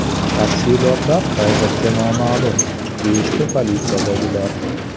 Tafsilotlar hozircha noma’lum, deyishdi politsiyadagilar.